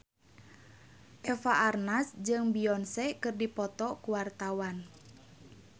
Eva Arnaz jeung Beyonce keur dipoto ku wartawan